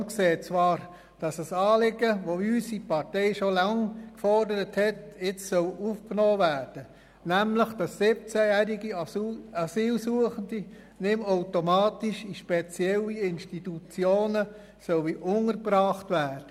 Die SVP sieht zwar, dass ein Anliegen, das unsere Partei schon lange fordert, jetzt aufgenommen werden soll: nämlich, dass 17-jährige Asylsuchende nicht mehr automatisch in speziellen Institutionen untergebracht werden.